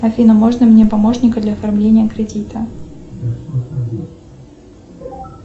афина можно мне помощника для оформления кредита